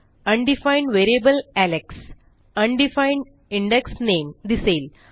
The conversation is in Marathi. undefined variable Alex undefined index नामे दिसेल